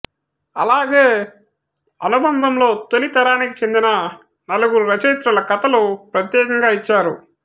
అలాగే అనుబంధంలో తొలితరానికి చెందిన నలుగురు రచయిత్రుల కథలు ప్రత్యేకంగా ఇచ్చారు